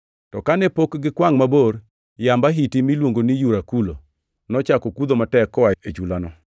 To kane pok gikwangʼ mabor, yamb ahiti miluongo ni Yurakulo, nochako kudho matek koa e chulano.